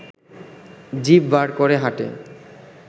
জিভ বার করে হাঁটে